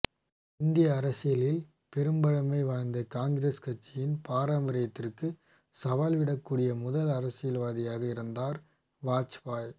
இந்திய அரசியலில் பெரும்பழமை வாய்ந்த காங்கிரஸ் கட்சியின் பாரம்பரியத்திற்கு சவால்விடக்கூடிய முதல் அரசியல்வாதியாக இருந்தார் வாஜ்பாய்